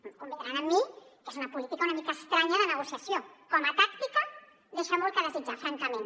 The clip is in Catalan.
deuen convenir amb mi que és una política una mica estranya de negociació com a tàctica deixa molt a desitjar francament